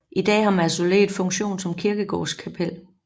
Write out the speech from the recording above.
I dag har mausoleet funktion som kirkegårdskapel